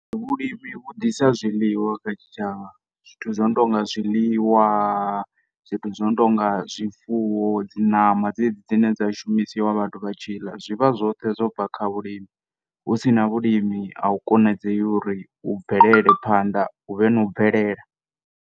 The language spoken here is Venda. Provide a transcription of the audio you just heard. Vhulimi vhudisa zwiḽiwa kha tshi tshavha zwithu zwo no tounga zwiḽiwa zwithu zwo no tonga zwifuwo dzi ṋama dzedzi dzine dza shumisiwa vhathu vha tshi ḽa zwivha zwoṱhe zwo bva kha vhulimi husina vhulimi a hu kona dzei uri u bvelele phanḓa huvhe na u bvelela.